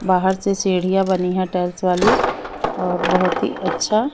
बाहर से सीढ़ियां बनी है टाइल्स वाली और बहुत ही अच्छा--